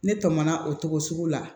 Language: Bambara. Ne tɛmɛna o togo sugu la